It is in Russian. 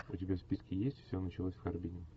у тебя в списке есть все началось в харбине